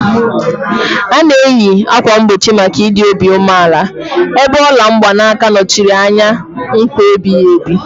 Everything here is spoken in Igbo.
A na-eyi ákwà mgbochi maka ịdị obi umeala, ebe ola mgbanaka nọchiri anya nkwa ebighị ebi.